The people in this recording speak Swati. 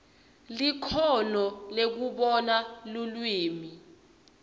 likhono lekubona lulwimi